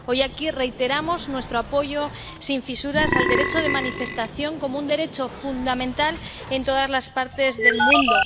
Hoy, aquí, reiteramos nuestro apoyo sin fisuras al derecho de manifestación como un derecho fundamental en todas las partes del mundo.